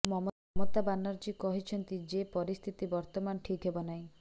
ମମତା ବାନାର୍ଜୀ କହିଛନ୍ତି ଯେ ପରିସ୍ଥିତି ବର୍ତ୍ତମାନ ଠିକ୍ ନାହିଁ